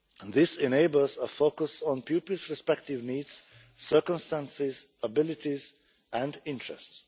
This enables a focus on pupils' respective needs, circumstances, abilities and interests.